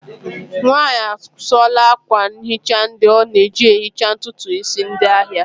Nwanyị a sụọla akwa nhicha ndị ọ na-eji ehicha ntutu isi ndị ahịa